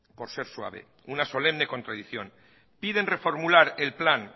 por ser suave una solemne contradicción piden reformular el plan